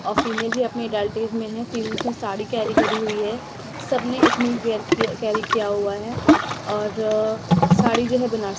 और फीमेल भी अपनी अडल्ट एज में है फीमेल्स ने साड़ी कैरी करी हुई है सबने एथनिक वेयर किया कैरी किया हुआ है और साड़ी जो है बनारसी--